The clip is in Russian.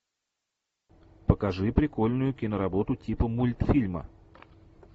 покажи прикольную киноработу типа мультфильма